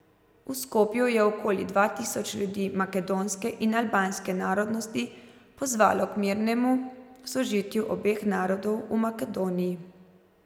V Skopju je okoli dva tisoč ljudi makedonske in albanske narodnosti pozvalo k mirnemu sožitju obeh narodov v Makedoniji.